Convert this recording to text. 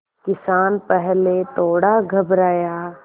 किसान पहले थोड़ा घबराया